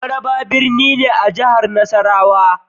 Maraba birni ne a jihar Nasarawa.